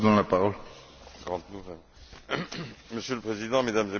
Monsieur le Président, Mesdames et Messieurs les députés, je voudrais tout d'abord remercier M.